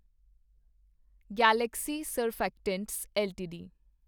Galaxy Surfactants LTD